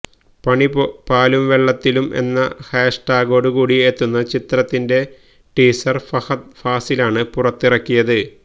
പണി പാലും വെള്ളത്തിലും എന്ന ഹാഷ് ടാഗോട് കൂടി എത്തുന്ന ചിത്രത്തിന്റെ ടീസര് ഫഹദ് ഫാസിലാണ് പുറത്തിറക്കിയത്